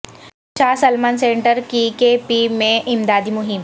شاہ Salman centre کی K P میں امدادی مہم